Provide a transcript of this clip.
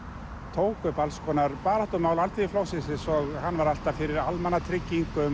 tók upp alls konar baráttumál Alþýðuflokksins eins og hann var alltaf fyrir almannatryggingum